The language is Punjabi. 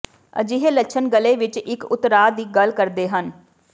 ਅਜਿਹੇ ਲੱਛਣ ਗਲ਼ੇ ਵਿੱਚ ਇੱਕ ਉਤਰਾਅ ਦੀ ਗੱਲ ਕਰਦੇ ਹਨ